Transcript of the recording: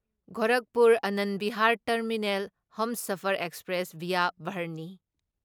Gorakhpur Anand Vihar terminal Humsafar express via Barhni